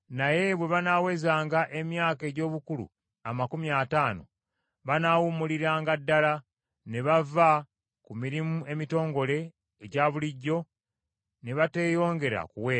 naye bwe banaawezanga emyaka egy’obukulu amakumi ataano banaawummuliranga ddala ne bava ku mirimu emitongole egya bulijjo ne bateeyongera kuweereza.